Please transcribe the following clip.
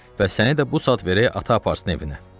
Və səni də bu saat verək ata aparsın evinə.